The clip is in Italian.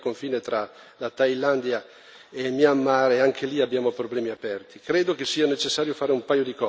Ho avuto la possibilità di visitare alcuni campi al confine tra la Thailandia e Myanmar e anche li abbiamo problemi aperti.